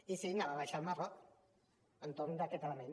i sí anava a baixar al marroc entorn d’aquest element